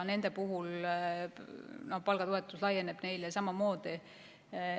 Nendele laieneb palgatoetus samamoodi.